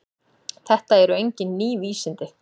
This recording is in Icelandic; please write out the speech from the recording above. Þetta eru engin ný vísindi.